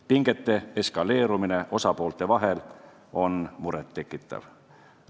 Pingete eskaleerumine osapoolte vahel on muret tekitav.